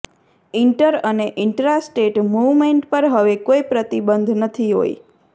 inter અને intra state movement પર હવે કોઈ પ્રતિબંધ નહીં હોય